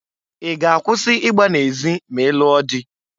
I ga-akwusi igba na-ezị ma ị lụọ dị?